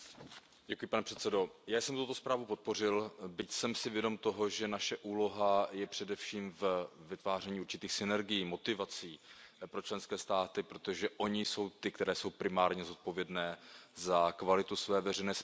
Paní předsedající, já jsem tuto zprávu podpořil, byť jsem si vědom toho, že naše úloha je především ve vytváření určitých synergií, motivací pro členské státy, protože ony jsou ty, které jsou primárně zodpovědné za kvalitu své veřejné správy.